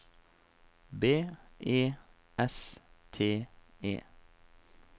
B E S T E